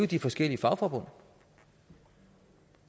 de forskellige fagforbund